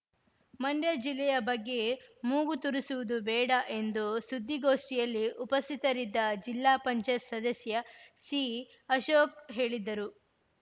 ಮಂಡ್ಯ ಜಿಲ್ಲೆಯ ಬಗ್ಗೆ ಮೂಗು ತುರಿಸುವುದು ಬೇಡ ಎಂದು ಸುದ್ದಿಗೋಷ್ಠಿಯಲ್ಲಿ ಉಪಸ್ಥಿತರಿದ್ದ ಜಿಲ್ಲಾಪಂಚಾಯತ್ ಸದಸ್ಯ ಸಿಅಶೋಕ್‌ ಹೇಳಿದರು